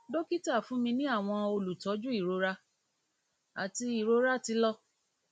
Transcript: dokita fun mi ni awọn olutọju irora ati irora ti lọ